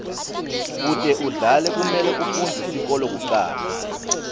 kute udlale kumele ufundze sikolo kucala